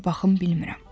Hara baxım bilmirəm.